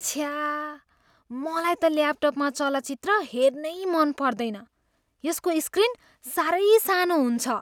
छ्या। मलाई त ल्यापटपमा चलचित्र हेर्नै मन पर्दैन। यसको स्क्रीन साह्रै सानो हुन्छ।